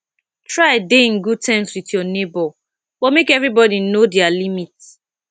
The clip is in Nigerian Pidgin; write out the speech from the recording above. try de in good term with your neighbour but make everybody know their limit